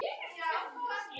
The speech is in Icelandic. Það má vel vera að svo sé.